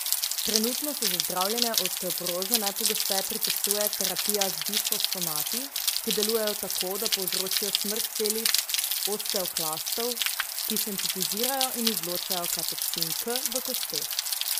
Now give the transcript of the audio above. Trenutno se za zdravljenje osteoporoze najpogosteje predpisuje terapija z bisfosfonati, ki delujejo tako, da povzročijo smrt celic osteoklastov, ki sintetizirajo in izločajo katepsin K v kosteh.